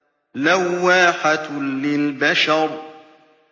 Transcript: لَوَّاحَةٌ لِّلْبَشَرِ